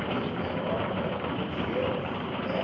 Eu era de menor, moleque, não podia, né?